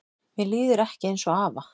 Mér líður ekki eins og afa